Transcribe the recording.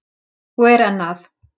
Og er enn að.